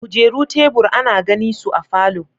kujeru, tebur, ana gani su a falo.